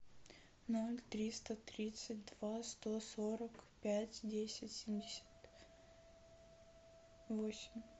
ноль триста тридцать два сто сорок пять десять семьдесят восемь